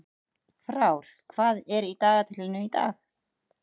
Frár, hvað er í dagatalinu í dag?